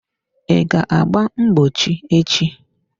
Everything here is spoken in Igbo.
I ga agba mgbochi echi?